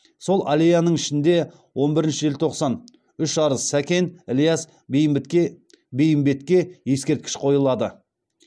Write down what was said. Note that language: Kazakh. сол аллеяның ішінде он бірінші желтоқсан үш арыс сәкен ілияс бейімбетке ескерткіш қойылады